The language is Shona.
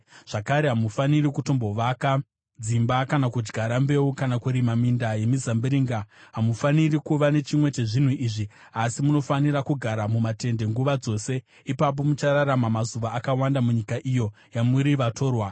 Zvakare, hamufaniri kutombovaka dzimba, kana kudyara mbeu kana kurima minda yemizambiringa; hamufaniri kuva nechimwe chezvinhu izvi, asi munofanira kugara mumatende nguva dzose. Ipapo muchararama mazuva akawanda munyika iyo yamuri vatorwa.’